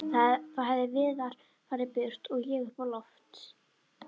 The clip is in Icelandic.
Þá hefði Viðar farið burt og ég upp á loft